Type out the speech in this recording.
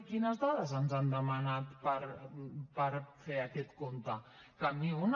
quines dades ens han demanat per fer aquest compte cap ni una